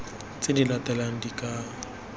tse di latelang di ka